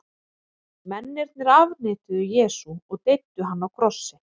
Mennirnir afneituðu Jesú og deyddu hann á krossi.